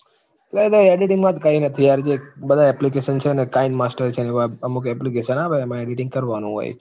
ના ના editing માં તો કઈ નથી યાર જે બધા application છે ને, kine master છે ને, એવા અમુક એવા application આવે એમાં editing કરવાનું હોય છે.